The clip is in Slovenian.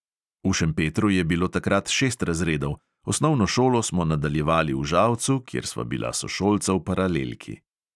V šempetru je bilo takrat šest razredov, osnovno šolo smo nadaljevali v žalcu, kjer sva bila sošolca v paralelki.